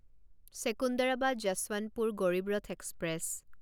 Secunderabad Yesvantpur Garib Rath express